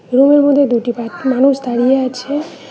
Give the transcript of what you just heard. রুমের মধ্যে দুটি মানুষ দাঁড়িয়ে আছে।